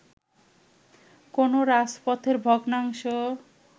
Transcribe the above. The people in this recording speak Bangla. কোনো রাজপথের ভগ্নাংশ